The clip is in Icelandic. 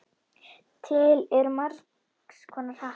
Til eru margs konar hattar.